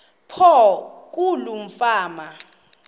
apho kuloo fama